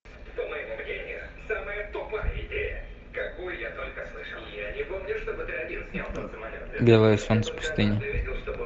белое солнце пустыни